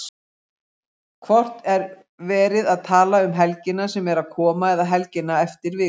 Hvort er verið að tala um helgina sem er að koma eða helgina eftir viku?